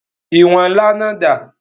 Ìwọ̀n ńlá náà dà?